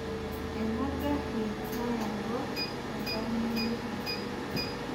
Ena garri nayawua oltamwoyiai.